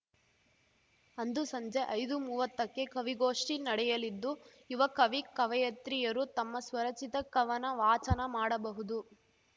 ಅಂದು ಸಂಜೆ ಐದುಮೂವತ್ತಕ್ಕೆ ಕವಿಗೋಷ್ಠಿ ನಡೆಯಲಿದ್ದುಯುವ ಕವಿಕವಯತ್ರಿಯರು ತಮ್ಮ ಸ್ವರಚಿತ ಕವನ ವಾಚನ ಮಾಡಬಹುದು